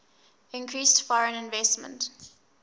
increased foreign investment